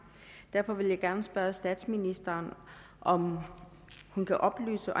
derfor vil jeg gerne spørge statsministeren om hun kan oplyse